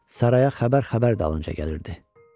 Saraya xəbər xəbər dalınca gəlirdi.